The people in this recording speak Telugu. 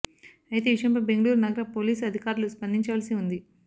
అయితే ఈ విషయంపై బెంగళూరు నగర పోలీసు అధికారులు స్పందించవలసి ఉంది